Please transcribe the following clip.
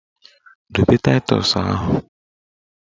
Dobe taịtọs ahụ!